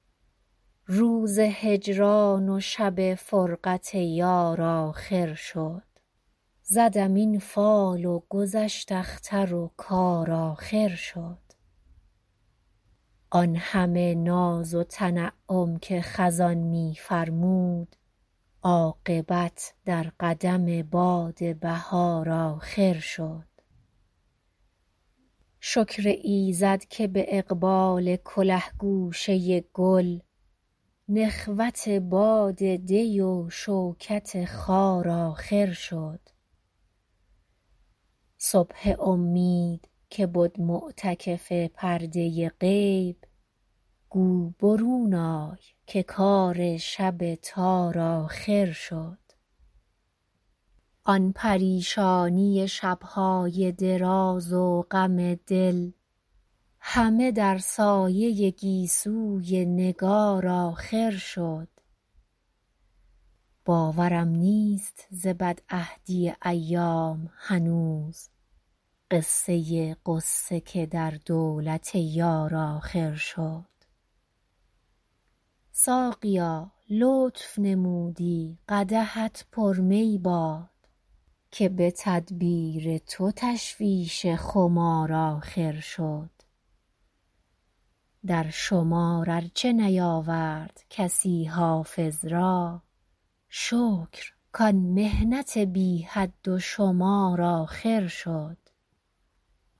روز هجران و شب فرقت یار آخر شد زدم این فال و گذشت اختر و کار آخر شد آن همه ناز و تنعم که خزان می فرمود عاقبت در قدم باد بهار آخر شد شکر ایزد که به اقبال کله گوشه گل نخوت باد دی و شوکت خار آخر شد صبح امید که بد معتکف پرده غیب گو برون آی که کار شب تار آخر شد آن پریشانی شب های دراز و غم دل همه در سایه گیسوی نگار آخر شد باورم نیست ز بدعهدی ایام هنوز قصه غصه که در دولت یار آخر شد ساقیا لطف نمودی قدحت پر می باد که به تدبیر تو تشویش خمار آخر شد در شمار ار چه نیاورد کسی حافظ را شکر کان محنت بی حد و شمار آخر شد